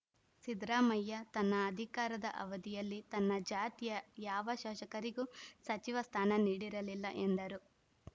ಸಿದ್ದರಾಮಯ್ಯ ತನ್ನ ಅಧಿಕಾರದ ಅವಧಿಯಲ್ಲಿ ತನ್ನ ಜಾತಿಯ ಯಾವ ಶಾಸಕರಿಗೂ ಸಚಿವ ಸ್ಥಾನ ನೀಡಿರಲಿಲ್ಲ ಎಂದರು